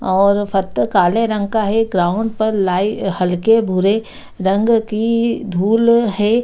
और काले रंग का है ग्राउंड पर लाई हल्के भूरे रंग की धूल है ।